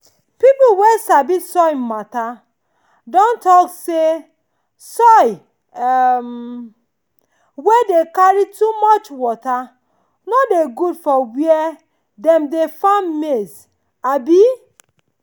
people wey sabi soil matter don talk say soil um wey dey carry too much water no dey good for where dem dey farm maize. um